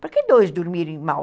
Para que dois dormirem mal?